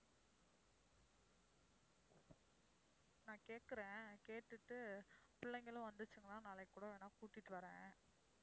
நான் கேட்கிறேன், கேட்டுட்டு பிள்ளைகளும் நாளைக்கு கூட வேணும்னா கூட்டிட்டு வர்றேன்.